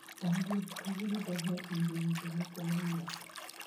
Ondiek, kawuono daher winjo wende moko ma ywak.